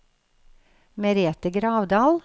Merete Gravdal